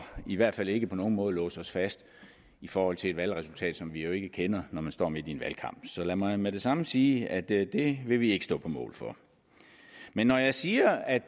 i hvert fald ikke på nogen måde låse os fast i forhold til et valgresultat som vi jo ikke kender når man står midt i en valgkamp så lad mig med det samme sige at det vil vi ikke stå på mål for men når jeg siger at